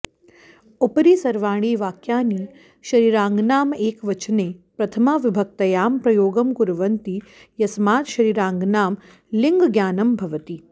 उपरि सर्वाणि वाक्यानि शरीराङ्गानां एकवचने प्रथमाविभक्त्यां प्रयोगं कुर्वन्ति यस्मात् शरीराङ्गानां लिङ्गज्ञानं भवति